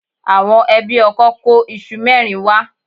Àwọn ẹbí ọkọ kó iṣu mẹ́rin wá.